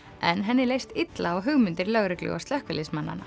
en henni leist illa á hugmyndir lögreglu og